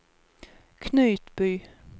Knutby